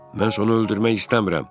Mən sən onu öldürmək istəmirəm.